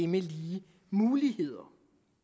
med lige muligheder